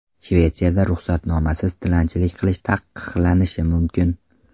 Shvetsiyada ruxsatnomasiz tilanchilik qilish taqiqlanishi mumkin.